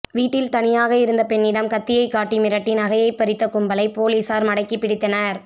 வீட்டில் தனியாக இருந்த பெண்ணிடம் கத்தியை காட்டி மிரட்டி நகை பறித்த கும்பலை போலீசார் மடக்கிபிடித்தனர்